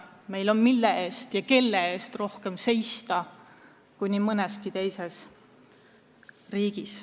Meil on, mille eest ja kelle eest seista, rohkem kui nii mõneski teises riigis.